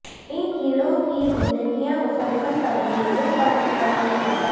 ان کیڑوں کی زندگیاں مسلسل تبدیلیوں پر مشتمل ہے